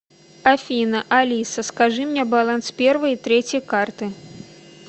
афина алиса скажи мне баланс первой и третьей карты